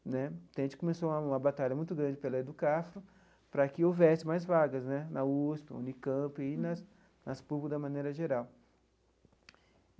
Né então, a gente começou uma batalha muito grande pela EDUCAFRO para que houvesse mais vagas né na USP, na Unicamp e nas nas públicas da maneira geral.